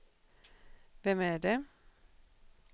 vem är det